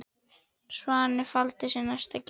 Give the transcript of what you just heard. Svanni faldinn glæstan ber.